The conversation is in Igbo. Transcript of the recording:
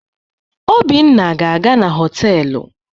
Obinna ga-aga na họtelu.